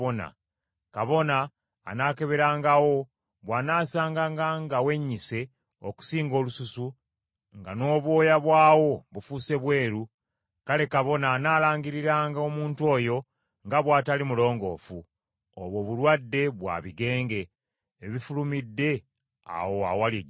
Kabona anaakeberangawo, bw’anaasanganga nga wennyise okusinga olususu, nga n’obwoya bwawo bufuuse bweru; kale kabona analangiriranga omuntu oyo nga bw’atali mulongoofu. Obwo bulwadde bwa bigenge ebifulumidde awo awaali ejjute.